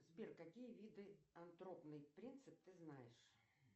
сбер какие виды антропный принцип ты знаешь